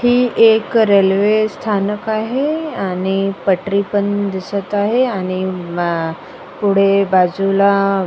ही एक रेल्वे स्थानक आहे आणि पटरी पण दिसत आहे आणि म पुढे बाजूला --